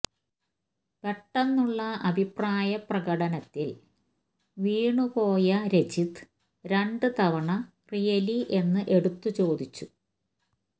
പെട്ടെന്നുള്ള ആ അഭിപ്രായപ്രകടനത്തില് വീണ് പോയ രജിത്ത് രണ്ട് തവണ റിയലി എന്ന് എടുത്ത് ചോദിച്ചു